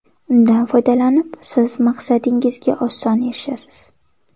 Undan foydalanib siz maqsadingizga oson erishasiz!